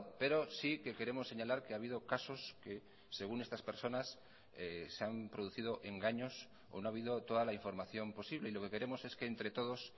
pero sí que queremos señalar que ha habido casos que según estas personas se han producido engaños o no ha habido toda la información posible y lo que queremos es que entre todos